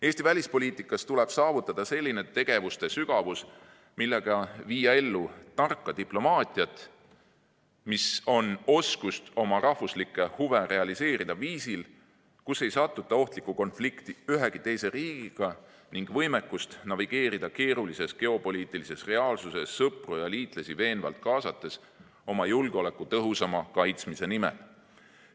Eesti välispoliitikas tuleb saavutada selline tegevuste sügavus, millega viia ellu tarka diplomaatiat, mis on oskus oma rahvuslikke huve realiseerida viisil, kus ei satuta ohtlikku konflikti ühegi teise riigiga, ning võimekust navigeerida keerulises geopoliitilises reaalsuses sõpru ja liitlasi veenvalt kaasates oma julgeoleku tõhusama kaitsmise nimel.